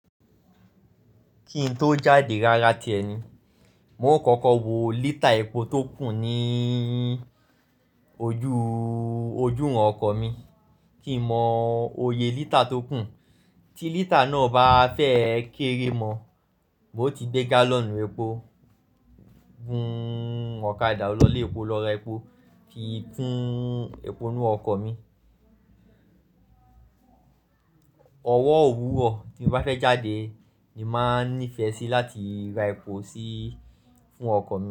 Kí n tó jáde rárá tíẹ ni, n o kọkọ wo lítà epo tó kù ní ojú iwọn ọkọ̀ mi kí mọ oyè lítà tó kù. Tí lítà náà bá fẹ́ kéré mọ, n ti gbé gálọ̀nù epo gún ọ̀kadà lọlé epo lọ́ra epo fi kún epo inú ọkọ̀ mi. Ọwọ́ òwúrọ̀ tí mo bá fẹ́ jáde ni máa nífẹ̀ẹ́ sí láti ra epo sí fún ọkọ̀ mi.